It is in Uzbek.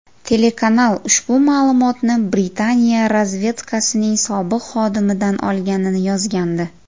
Telekanal ushbu ma’lumotni Britaniya razvedkasining sobiq xodimidan olganini yozgandi.